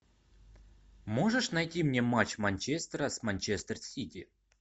можешь найти мне матч манчестера с манчестер сити